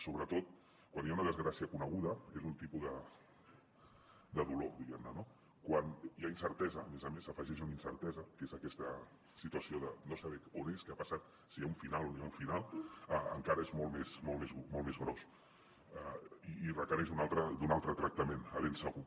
sobretot quan hi ha una desgràcia coneguda és un tipus de dolor diguem ne no quan hi ha incertesa a més a més s’hi afegeix una incertesa que és aquesta situació de no saber on és què ha passat si hi ha un final o no hi ha un final encara és molt més gros i requereix un altre tractament ben segur